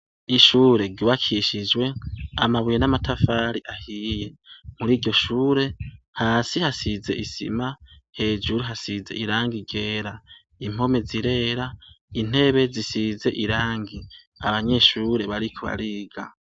Ishure ryubakishijwe amabuye namatafari ahiye muri iryoshure hasi hasize isima hejuru hasize irangi ryera impome zirera intebe zisize irangi abanyeshure bariko bariga